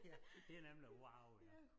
Ja det nemlig wow ja